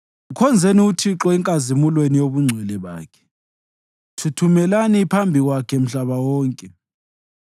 Mkhonzeni uThixo enkazimulweni yobungcwele bakhe; thuthumelani phambi kwakhe mhlaba wonke.